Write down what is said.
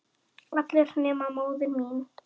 allir nema móðir mín